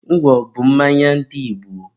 ngwọ bụ ụdị mmanya ndị Igbo.